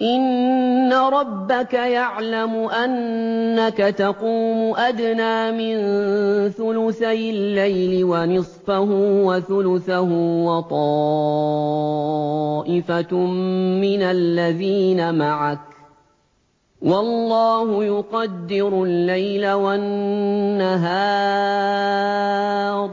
۞ إِنَّ رَبَّكَ يَعْلَمُ أَنَّكَ تَقُومُ أَدْنَىٰ مِن ثُلُثَيِ اللَّيْلِ وَنِصْفَهُ وَثُلُثَهُ وَطَائِفَةٌ مِّنَ الَّذِينَ مَعَكَ ۚ وَاللَّهُ يُقَدِّرُ اللَّيْلَ وَالنَّهَارَ ۚ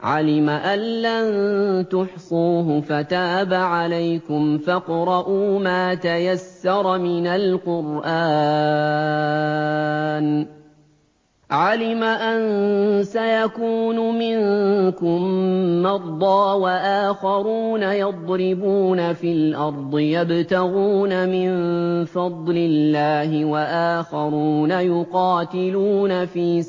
عَلِمَ أَن لَّن تُحْصُوهُ فَتَابَ عَلَيْكُمْ ۖ فَاقْرَءُوا مَا تَيَسَّرَ مِنَ الْقُرْآنِ ۚ عَلِمَ أَن سَيَكُونُ مِنكُم مَّرْضَىٰ ۙ وَآخَرُونَ يَضْرِبُونَ فِي الْأَرْضِ يَبْتَغُونَ مِن فَضْلِ اللَّهِ ۙ وَآخَرُونَ يُقَاتِلُونَ فِي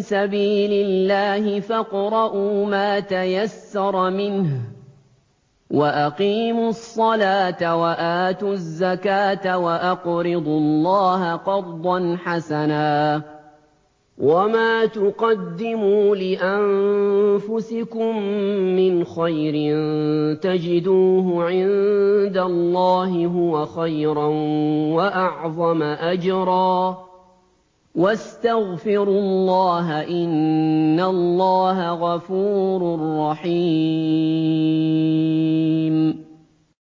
سَبِيلِ اللَّهِ ۖ فَاقْرَءُوا مَا تَيَسَّرَ مِنْهُ ۚ وَأَقِيمُوا الصَّلَاةَ وَآتُوا الزَّكَاةَ وَأَقْرِضُوا اللَّهَ قَرْضًا حَسَنًا ۚ وَمَا تُقَدِّمُوا لِأَنفُسِكُم مِّنْ خَيْرٍ تَجِدُوهُ عِندَ اللَّهِ هُوَ خَيْرًا وَأَعْظَمَ أَجْرًا ۚ وَاسْتَغْفِرُوا اللَّهَ ۖ إِنَّ اللَّهَ غَفُورٌ رَّحِيمٌ